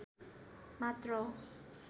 मात्र हो